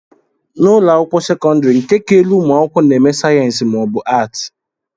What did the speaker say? n'ụlọ akwụkwọ sekọndrị nke ka elu ụmụ akwụkwọ na-eme sayensị ma ọ bụ Atị